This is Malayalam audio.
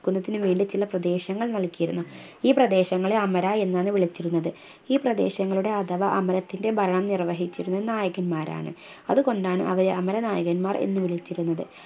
ക്കുന്നതിനു വേണ്ടി ചില പ്രദേശങ്ങൾ നൽകിയിരുന്നു ഈ പ്രദേശങ്ങളെ അമര എന്നാണ് വിളിച്ചിരുന്നത് ഈ പ്രദേശങ്ങളുടെ അഥവാ അമരത്തിൻറെ ഭരണം നിർവഹിച്ചിരുന്ന നായകന്മാരാണ് അതു കൊണ്ടാണ് അവരെ അമര നായകന്മാർ എന്ന് വിളിച്ചിരുന്നത്